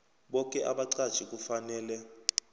boke abaqatjhi kufanele